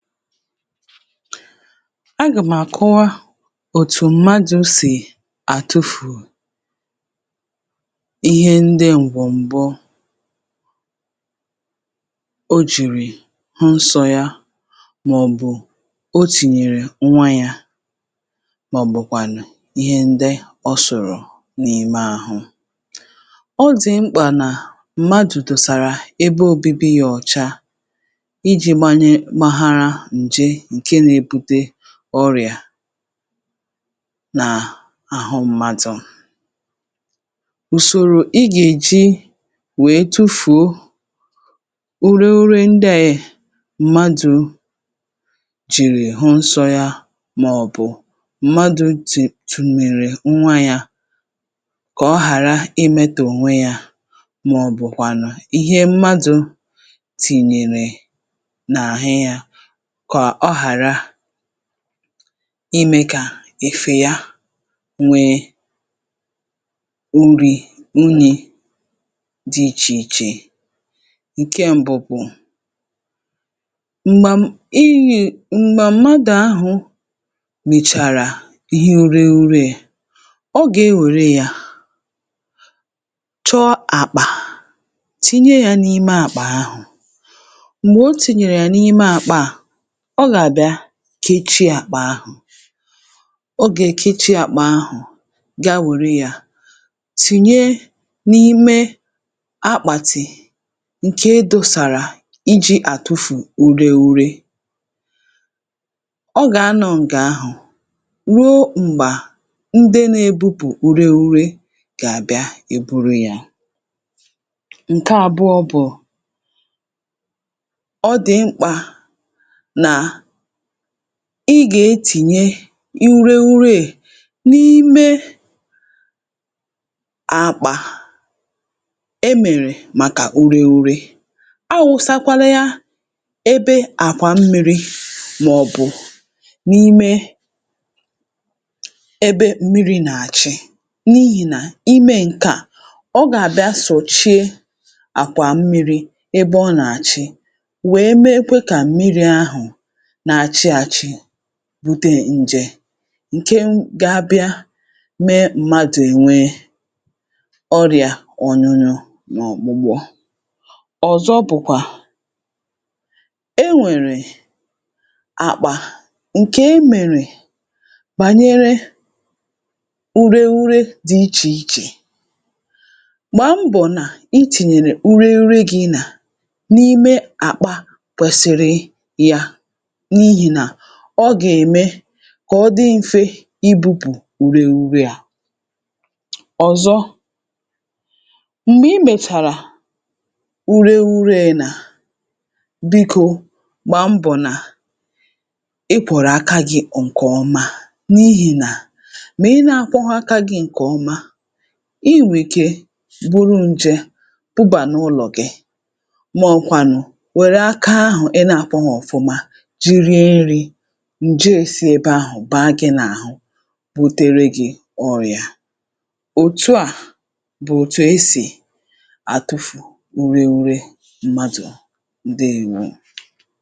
Agà mà kụwa òtù mmadụ̀ sì àtụfù ihe ndị ǹgwọ̀m̀gbo ǹjè nke na-ebute ọrịa n’àhụ mmadụ̀... Ụ̀sọ̀rò ị gà-èji wèe tufùo ure ure ndị àyị̀ mmadụ̀ jìrì hụ̀ nsọ yà, màọ̀bụ̀ mmadụ̀ tùtùmèrè nwa yà, kà ọ̀ hàrà imetò nwe yà, màọ̀bụ̀ kwànụ̀ um ihe mmadụ̀ tìnyèrè n’àhè yà, kọ̀ ọ ghàrà imè kà èfè ya nwee nri unyi̇ dị iche iche. um Nke m̀bụ̀pụ̀, m̀gbà mmadụ̀ ahụ̀ bìchàrà ihe ere ere, ọ gà-ewèrè ya, chọ àkpà, tìnye ya n’ime àkpà ahụ̀ um M̀gbè o tìnyèrè ya n’ime àkpà, ọ gà-àbịa kechie àkpà ahụ̀. Ogè kechie àkpà ahụ̀, gaa wère yà, tìnye n’ime akpàtì ǹke dọọ̇sàrà iji àtụfù ure ure. Ọ gà-anọ̇ n’ǹgè ahụ̀ ruo m̀gbà ndị nà-èbubù ure ure gà-àbịa eburu yà. um Nke àbụọ bụ̀ nà ọ dị̀ mkpà ị gà-etìnye ure ure è n’ime àkpà emèrè màkà ure ure. Awụ̇sakwàlè yà ebe àkwà mmiri̇, màọ̀bụ̀ n’ime ebe mmiri̇ nà-àchị. N’ihìnà imè nke à, ọ gà-àbịa sọ̀chie àkwà mmiri̇ ebe ọ nà-àchị, wèe mee kà mmiri̇ ahụ̀ bute ǹjè,.. ǹke gà-abịa mee mmadụ̀ ènwe ọrịa ọnyụnyụ n’ọ̀kpụ̀bụ̀ọ. Ọ̀zọ̀ bụ̀kwà e nwèrè àkpà ǹkè e mèrè bànyere ure ure dị iche iche. Gbà mbọ̀ nà i tìnyèrè ure ure gị̇ nà n’ime àkpà kwèsịrị ya, kà ọ dị mfe ibu̇pù ureghuru um Ọ̀zọ̀, m̀gbè i mètàrà ureghuru, è nà bikò, gbà mbọ̀ nà ị kwọ̀rọ̀ aka gị̇ nke ọma. N’ihì nà,.. ọ bụrụ na ị naghị akwò ọ́ka gị̇ nke ọma, ị nwèkè iburu ǹjè, um ǹke gà-bubà n’ụlọ̀ gị̇, ǹjè èsi ebe ahụ̀ bàa gị̇ n’àhụ, butere gị̇ ọrịa. Òtù à bụ̀ òtù esì àtụfù ure ure mmadụ̀. Ndeèwoo.